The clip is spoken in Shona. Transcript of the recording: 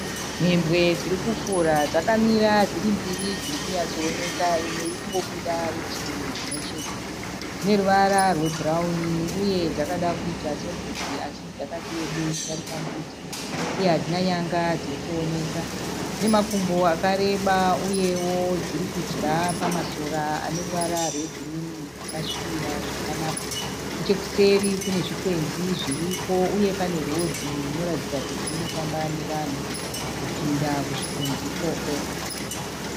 Mhembwe dziri kufura. Dzakamira dziri mbiri dziri kunyatsooneka. Imwe iri kungobuda rutivi rumwechete. Dzine ruvara rwebhurauni uye dzakada kuita sembudzi asi dzakati rebei kudarika mbudzi uye hadzina nyanga dziri kuoneka. Dzine makumbo akareba uyewo dziri kudya pamasora aneruva rwegirini rwakasvibira zvakanaka. Nechekuseri kune zvikwenzi zviriko uye pane rodhi inoratidza kuti inofamba nevanhu kupinda kuzvikwenzi ikoko.